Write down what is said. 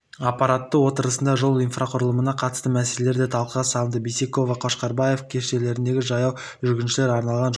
аппарат отырысында жол инфрақұрылымына қатысты мәселелер де талқыға салынды бейсекова қошқарбаев көшелеріндегі жаяу жүргіншілерге арналған жолдар